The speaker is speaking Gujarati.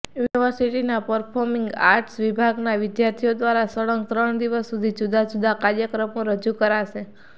યુનિવર્સિટીના પર્ફોમિંગ આર્ટસ વિભાગના વિદ્યાર્થીઓ દ્વારા સળંગ ત્રણ દિવસ સુધી જુદા જુદા કાર્યક્રમો રજૂ કરાશે